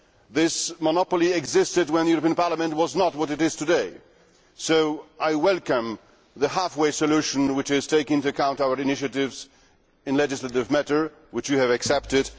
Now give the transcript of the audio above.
This monopoly existed when the European Parliament was not what it is today, so I welcome the half way solution which takes into account our initiatives in legislative matters, and which you have accepted.